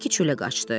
Bekki çölə qaçdı.